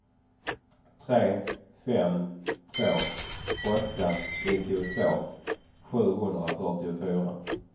tre fem två åtta nittiotvå sjuhundrafyrtiofyra